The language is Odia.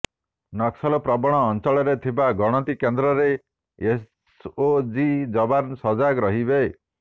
ନକ୍ସଲ ପ୍ରବଣ ଅଂଚଳରେ ଥିବା ଗଣତି କେନ୍ଦ୍ରରେ ଏସ୍ଓଜି ଯବାନ ସଜାଗ ରହିବେ